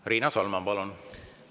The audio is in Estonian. Riina Solman, palun!